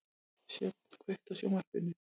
Sjöfn, kveiktu á sjónvarpinu.